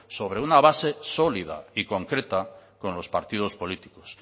sobre una base sólida y concreta con los partidos políticos